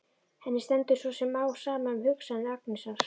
Henni stendur svo sem á sama um hugsanir Agnesar.